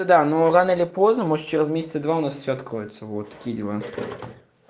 да но рано или поздно может через месяца два у нас всё откроется вот такие дела